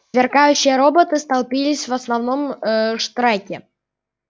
сверкающие роботы столпились в основном а в штреке